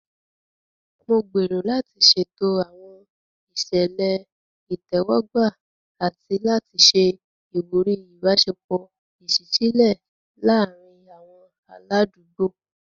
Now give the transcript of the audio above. Mo gbèrò láti ṣètò àwọn ìṣẹ̀lẹ̀ ìtẹ́wọ́gbà àti láti ṣe ìwúrí ìbáṣepọ̀ ìṣísílẹ̀ láàárín àwọn aládùúgbò.